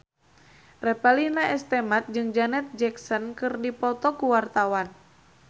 Revalina S. Temat jeung Janet Jackson keur dipoto ku wartawan